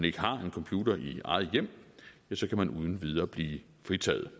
ikke har en computer i eget hjem ja så kan man uden videre blive fritaget